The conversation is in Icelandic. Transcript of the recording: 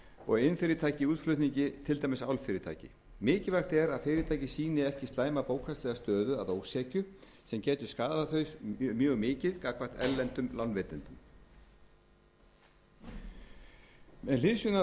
og iðnfyrirtæki í útflutningi til dæmis álfyrirtæki mikilvægt er að fyrirtæki sýni ekki slæma bókhaldslega stöðu að ósekju sem getur skaðað þau mjög mikið gagnvart erlendum lánveitendum með hliðsjón af